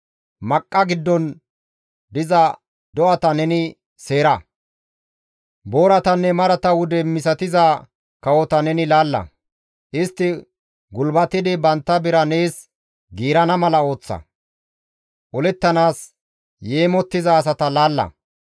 Maqqa giddon diza do7ata neni seera. Booratanne marata wude misatiza kawota neni laalla; istti gulbatidi bantta bira nees giirana mala ooththa; olettanaas yeemottiza asata laalla.